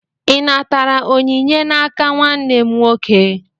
Ị natara onyinye n'aka nwanne m nwoke?